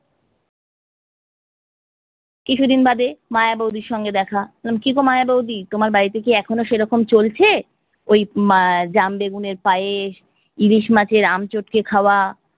কিছুদিন বাদে মায়া বৌদির সঙ্গে দেখা, বললাম কিগো মায়া বৌদি তোমার বাড়িতে কি এখনো সেরকম চলছে? ওই ম্যা জাম বেগুনের পায়েস, ইলিশ মাছের আমি চটকে খাওয়া।